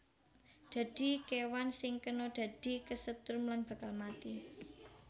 Dadi kéwan sing kena dadi kesetrum lan bakal mati